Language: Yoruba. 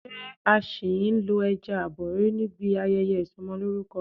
Ṣé a ṣì ń lo ẹja abori níbi ayẹyẹ Ìsọmọlórúkọ?